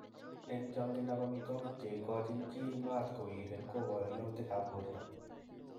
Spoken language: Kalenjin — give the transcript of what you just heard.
Eng changindo ab amitwokik che kochin chi mat kowiren kobaru yautik ab borto.